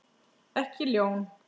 Ekki ljón.